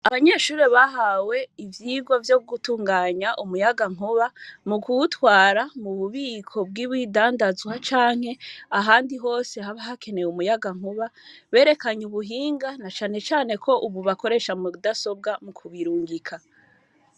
Abanyeshure bahawe ivyigwa vyo gutunganya umuyagankuba, mu kuwutwara mu bubiko bw’ibidandazwa canke ahandi hose haba hakenewe umuyagankuba, berekanye ubuhinga, na cane cane ko ubu bakoresha mudasobwa mu kubirungika.